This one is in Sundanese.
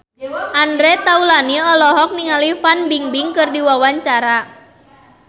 Andre Taulany olohok ningali Fan Bingbing keur diwawancara